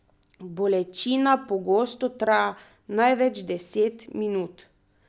Bolečina pogosto traja največ deset minut.